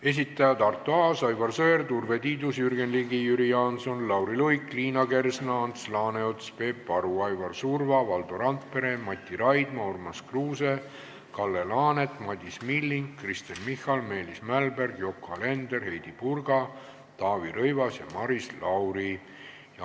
Esitajad on Arto Aas, Aivar Sõerd, Urve Tiidus, Jürgen Ligi, Jüri Jaanson, Lauri Luik, Liina Kersna, Ants Laaneots, Peep Aru, Aivar Surva, Valdo Randpere, Mati Raidma, Urmas Kruuse, Kalle Laanet, Madis Milling, Kristen Michal, Meelis Mälberg, Yoko Alender, Heidy Purga, Taavi Rõivas ja Maris Lauri.